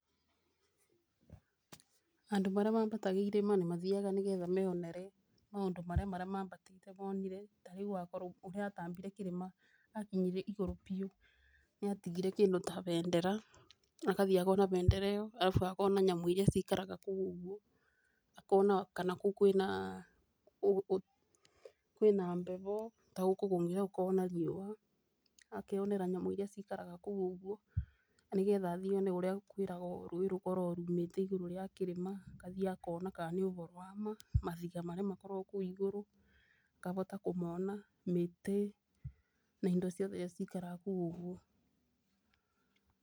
Andũ marĩa mambataga irĩma nĩ mathiaga nĩ getha meyonere maũndũ marĩa marĩa mambatĩte monire. Tarĩu mokorok nĩ atambire kĩrĩma akinyire igũrũ piũ nĩ atigire kĩndũ ta bendera agathiaga na bendera ĩyo arabu agakorwo na nyamũ iria cikaraga kũu ũguo akona kana kũu kwĩna bebo, tondũ gũkũ kũngĩ nĩ gũkoragwo na riũa. Akeyonera nyamũ iria cikaraga kũu ũguo nĩ getha athiĩ one ũrĩa kwĩragwo rũĩ rũkoragwo rumĩte igũrũ rĩa kĩrĩma agathiĩ akona kana nĩ ũboro wa ma. Mabiga marĩa makoragwo kũu igũrũ akabota kũmona mĩtĩ na indo ciothe iria cikaraga kũu ũguo.